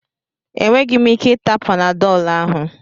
Enweghị m ike ịta panadọlụ ahụ.